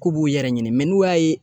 K'u b'u yɛrɛ ɲini n'u y'a ye